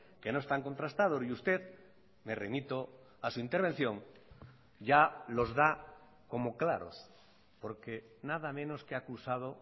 que no están contrastados y usted me remito a su intervención ya los da como claros porque nada menos que ha acusado